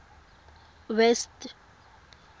west